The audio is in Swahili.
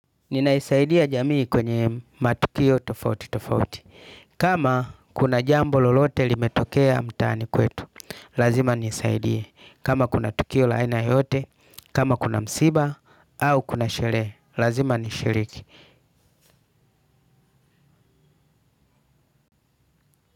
Ninaisaidia jamii kwenye matukio tofauti tofauti. Kama kuna jambo lolote limetokea mtaani kwetu, lazima nisaidie. Kama kuna tukio laina yote, kama kuna msiba, au kuna sherehe, lazima nishiriki.